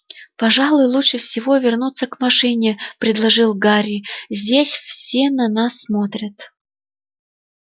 пожалуй лучше всего вернуться к машине предложил гарри здесь все на нас смотрят